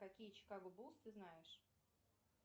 какие чикаго буллз ты знаешь